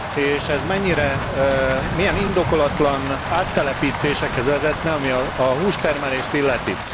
És ez mennyire, milyen indokolatlan áttelepítésekhez vezetne, ami a hústermelést illeti.